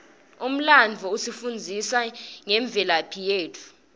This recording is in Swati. umlandvo usifundzisa ngemvelaphi yetfu